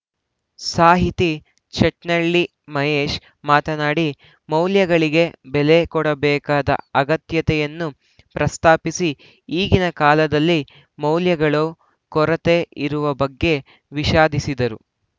ಸಾಹಿತಿ ಚಟ್ನಳ್ಳಿ ಮಹೇಶ್‌ ಮಾತನಾಡಿ ಮೌಲ್ಯಗಳಿಗೆ ಬೆಲೆ ಕೊಡಬೇಕಾದ ಅಗತ್ಯತೆಯನ್ನು ಪ್ರಸ್ತಾಪಿಸಿ ಈಗಿನ ಕಾಲದಲ್ಲಿ ಮೌಲ್ಯಗಳು ಕೊರತೆ ಇರುವ ಬಗ್ಗೆ ವಿಷಾದಿಸಿದರು